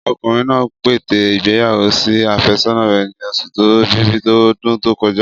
Ọkùnrin náà pète ìgbéyàwó sí àfẹ́sọ́nà rẹ̀ ni oṣù ẹ̀bìbí ọdún tó kọjá.